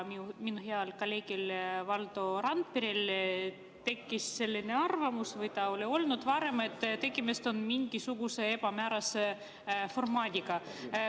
Minu heal kolleegil Valdo Randperel tekkis selline arvamus – või see oli varem –, et tegemist on mingisuguse ebamäärase formaadiga.